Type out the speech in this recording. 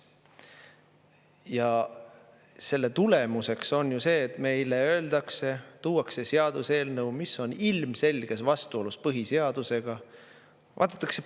Ja selle tulemuseks on ju see, et meile öeldakse, tuuakse seaduseelnõu, mis on ilmselges vastuolus põhiseadusega.